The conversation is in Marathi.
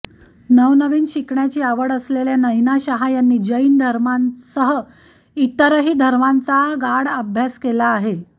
नवनवीन शिकण्याची आवड असलेल्या नयना शाह यांनी जैन धर्मासह इतर धर्मांचादेखील गाढा अभ्यास केला आहे